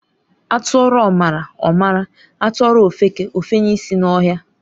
Atụọrọ ọmara, ọ mara. Atụọrọ ofeke, efenye ịsị n'ọhịa.